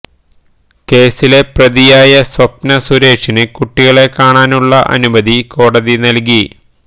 കേസിലെ പ്രതിയായ സ്വപ്ന സുരേഷിന് കുട്ടികളെ കാണാനുള്ള അനുമതി കോടതി നൽകി